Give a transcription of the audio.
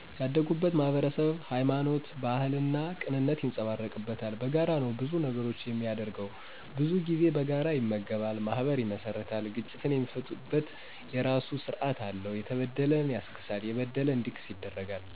ያደግኩት ማህበረሰብ ሀይማኖት፣ ባህልና ቅንነት ይንፀባረቅበታል። በጋራ ነው ብዙ ነገሮቹን የሚያደርገው። ብዙ ጊዜ በጋራ ይመገባ፣ ማህበር ይመሰርታል፤ ግጭትን የሚፈታበት የራሱ ስራት አለው። የተበደለን ያስክሳል፣ የበደለ እንዲክስ ይደረጋል።